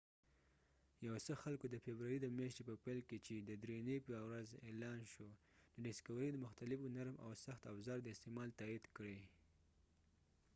یو څه خلکودفبروری د میاشتی په پیل کی چی د دری نی په ورځ اعلان شو د ډسکوری د مختلفو نرم او سخت افزار د استعمال تایید کړی